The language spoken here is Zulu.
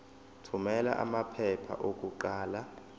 thumela amaphepha okuqala